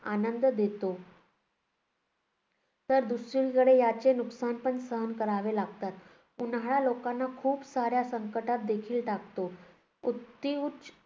आनंद देतो, तर दुसरीकडे याचे नुकसान पण सहन करावे लागतात. उन्हाळा लोकांना खूप साऱ्या संकटात देखील टाकतो. अतिउच्च